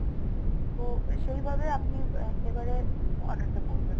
তো সেই ভাবে আপনি একেবারে order টা করবেন